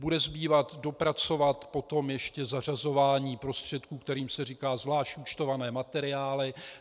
Bude zbývat dopracovat potom ještě zařazování prostředků, kterým se říká zvlášť účtované materiály.